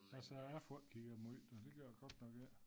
Altså jeg får ikke kigget måj da det gør jeg godt nok ik